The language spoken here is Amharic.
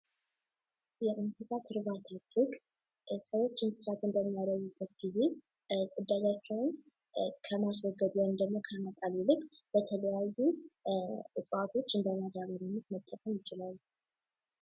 የእንስሳት እርባታ ፍግ ሰዎች እንስሳትን ያዩበት ጊዜ ዕዳቸውን ከማስወገድ ወይም ደግሞ ከመጣል ይልቅ በተለያዩ ዕፅዋቶች እንደማዳበሪያነት መጠቀም ይችላሉ።